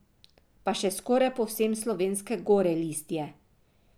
Pa še skoraj povsem slovenske gore list je.